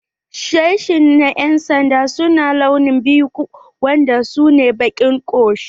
Sashi na yan'sanda su na launi biyu wanda su ne baƙi ko shuɗi.